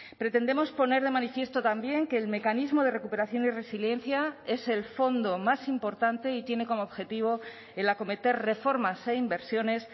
pretendemos poner de manifiesto también que el mecanismo de recuperación y resiliencia es el fondo más importante y tiene como objetivo el acometer reformas e inversiones